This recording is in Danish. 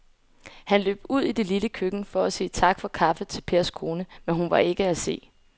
Han løb ud i det lille køkken for at sige tak for kaffe til Pers kone, men hun var ikke til at se.